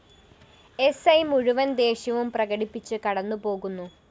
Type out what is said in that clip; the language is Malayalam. എസ്‌ഐ മുഴുവന്‍ ദേഷ്യവും പ്രകടിപ്പിച്ച് കടന്നുപോകുന്നു